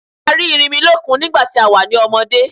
A rí Erinmilọ́kun nígbàtí a wà ní ọmọdé.